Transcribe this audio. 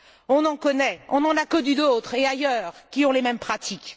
On en connaît, on en a connu d'autres, et ailleurs, qui ont les mêmes pratiques.